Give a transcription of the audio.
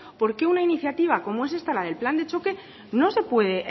por qué una iniciativa como es esta la del plan de choque no se puede